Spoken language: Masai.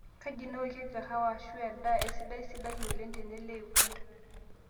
kaaji nawokieki kahawa ashu endaa esidai sidai oleng tene le uganda